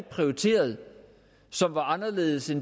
prioriteret som er anderledes i